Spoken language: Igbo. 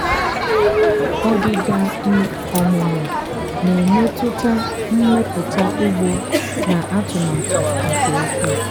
ọdịda um ọmụmụ na-emetụta mmepụta ugbo na atụmatụ nke ukwuu.